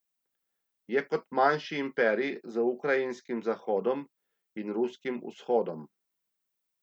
Je kot manjši imperij z ukrajinskim zahodom in ruskim vzhodom.